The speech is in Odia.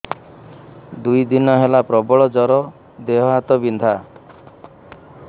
ଦୁଇ ଦିନ ହେଲା ପ୍ରବଳ ଜର ଦେହ ହାତ ବିନ୍ଧା